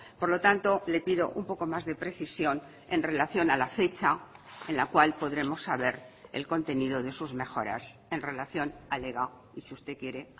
por lo tanto le pido un poco más de precisión en relación a la fecha en la cual podremos saber el contenido de sus mejoras en relación al ega y si usted quiere